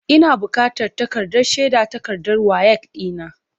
Ina bukatan takardar shaidar takardar WAEC ɗina.